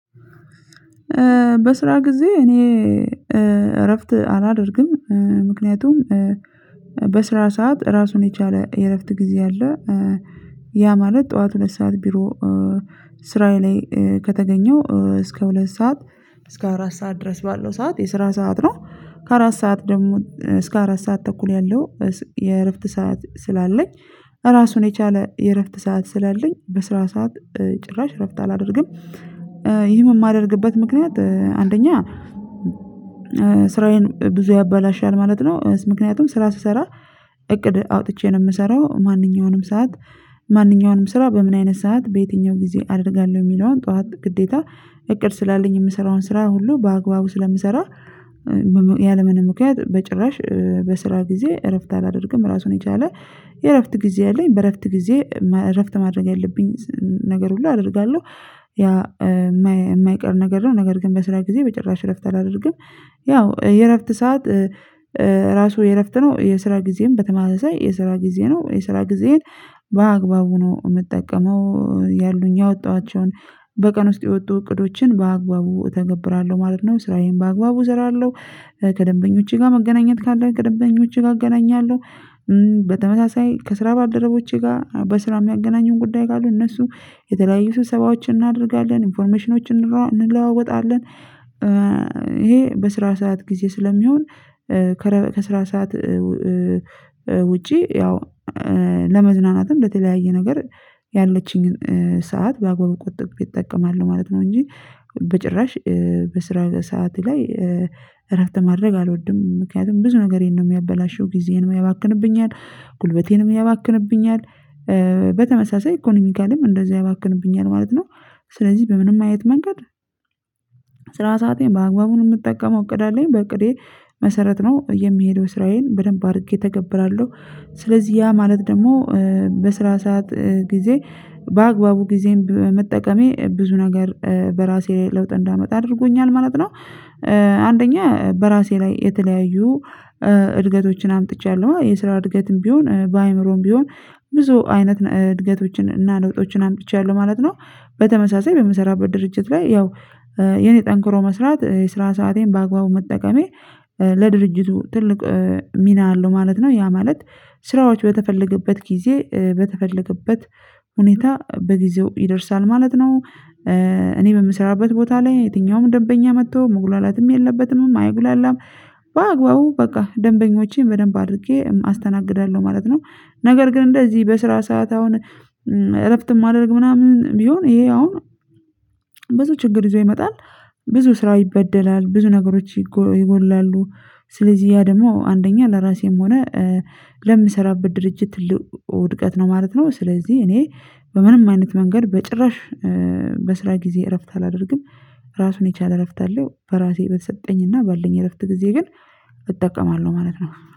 በስራ ጊዜ እኔ እረፍት አላደርግም ምክንያቱም ሰዓት ራሱን የቻለ የእረፍት ጊዜ አለ። ያ ማለት ጠዋት ሁለት ሰዓት ቢሮ ስራዬ ላይ ከተገኘው እስከ ሁለት ሰዓት እስከ አራት ሰዓት ድረስ ባለው ሰዓት የስራ ሰዓት ነው ከአራት ሰዓት ደግሞ እስከ አራት ሰዓት ተኩል ያለው የእረፍት ሰዓት ስላለኝ ራሱን የቻለ የእረፍት ሰዓት ስላለኝ በስራ ሰዓት ጭራሽ እረፍት አላደርግም። ይህም የማደርግበት ምክንያት አንደኛ ስራዬን ብዙ ያበላሻል ማለት ነው ምክንያቱም ስራ ስሰራ እቅድ አውጥቼ ነው የምሰራው ማንኛውንም ሰዓት ማንኛውንም ስራ በምን አይነት ሰዓት በየትኛው ጊዜ አደርጋለሁ የሚለውን ጠዋት ግዴታ እቅድ ስላለኝ የምሰራውን ስራ ሁሉ በአግባቡ ስለምሰራ ያለምንም ምክንያት በጭራሽ በስራ ጊዜ እረፍት አላደርግም ራሱን የቻለ የእረፍት ጊዜ አለኝ በእረፍት ጊዜ እረፍት ማድረግ ያለብኝ ነገር ሁሉ አደርጋለሁ። ያ የማይቀር ነገር ነው ነገር ግን በስራ ጊዜ በጭራሽ እረፍት አላደርግም። ያው የእረፍት ሰዓት ራሱ የእረፍት ነው የስራ ጊዜም በተመመሳይ የስራ ጊዜ ነው የስራ ጊዜን በአግባቡ ነው የምጠቀመው ያሉኝ ያወጣኋቸውን በቀን ውስጥ የወጡ እቅዶችን በአግባቡ እተገብራለሁ ማለት ነው። ስራዬን በአግባቡ እሰራለሁ ከደንበኞቼ ጋር መገናኘት ካለ ከደንበኞቼ ጋር አገናኛለሁ በተመሳሳይ ከስራ ባልደረቦቼ ጋር በስራ የሚያገናኙን ጉዳይ ካሉ እነሱ የተለያዩ ስብሰባዎችን እናደርጋለን ኢንፎርሜሽኖችን እንለዋወጣለን። ይሄ በስራ ሰዓት ጊዜ ስለሚሆን ከስራ ሰዓት ውጪ ያው ለመዝናናትም ለተለያየ ነገር ያለችኝን ሰዓት በአግባቡ ቆጥቤ እጠቀማለሁ ማለት ነው። እንጂ በጭራሽ በስራ ሰዓቴ ላይ እረፍት ማድረግ አልወድም ምክንያቱም ብዙ ነገሬን ነው የሚያበላሸው ጊዜንም ያባክንብኛል ጉልበቴንም ያባክንብኛል በተመሳሳይ ኢኮኖሚካልም እንደዚህ ያባክንብኛል ማለት ነው። ስለዚህ በምንም አይነት መንገድ ሰአቴን በአግባቡ ነው የምጠቀመው እቅድ አለኝ በእቅዴ መሰረት ነው የምሄደው ስራዬን በደንብ አድርጌ ተገብራለሁ። ስለዚህ ያ ማለት ደግሞ በስራ ሰዓት ጊዜ በአግባቡ ጊዜን በመጠቀሜ ብዙ ነገር በራሴ ለውጥ እንዳመጣ አድርጎኛል ማለት ነው። አንደኛ በራሴ ላይ የተለያዩ እድገቶችን አምጥቻለሁ የስራ እድገትም ቢሆን በአእምሮም ቢሆን ብዙ አይነት እድገቶችን እና ለውጦችን አምጥቻለሁ ማለት ነው። በተመሳሳይ በምሰራበት ድርጅት ላይ ያው የኔ ጠንክሮ መስራት የስራ ሰአቴን በአግባቡ መጠቀሜ ለድርጅቱ ትልቅ ሚና አለው ማለት ነው። ያ ማለት ስራዎች በተፈለገበት ጊዜ በተፈለገበት ሁኔታ በጊዜው ይደርሳል ማለት ነው። እኔ በምሰራበት ቦታ ላይ የትኛውም ደበኛ መጥቶ መጉላላትም የለበትምም አይጉላላም በአግባቡ በቃ ደንበኞቼን በደንብ አድርጌ አስተናግዳለሁ ማለት ነው። ነገር ግን እንደዚህ በስራ ሰዓት አሁን እረፍት ማድረግ ምናምን ቢሆን ይሄ አሁን ብዙ ችግር ይዞ ይመጣል ብዙ ስራ ይበደላል ብዙ ነገሮች ይጎድላሉ ስለዚህ ያ ደግሞ አንደኛ ለራሴም ሆነ ለምሰራበት ድርጅት ውድቀት ነው ማለት ነው ስለዚህ እኔ በምንም አይነት መንገድ በጭራሽ በስራ ጊዜ እረፍት አላደርግም። ራሱን የቻለ እረፍት አለው በራሴ በተሰጠኝና ባለኝ እረፍት ጊዜ ግን እጠቀማለሁ ማለት ነው